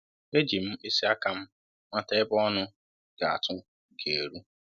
E ji m mkpịsị aka m mata ebe ọnụ ga-atụ ga-eru